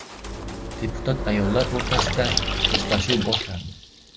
Deputat ayollar o‘rtasida mushtlashuv boshlandi.